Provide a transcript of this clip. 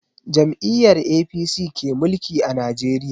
Jam'iyyar APC ke mulki a Najeriya.